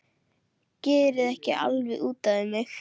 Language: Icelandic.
Gerið ekki alveg út af við mig!